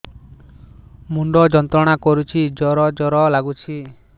ମୁଣ୍ଡ ଯନ୍ତ୍ରଣା କରୁଛି ଜର ଜର ଲାଗୁଛି